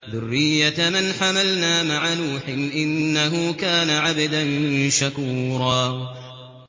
ذُرِّيَّةَ مَنْ حَمَلْنَا مَعَ نُوحٍ ۚ إِنَّهُ كَانَ عَبْدًا شَكُورًا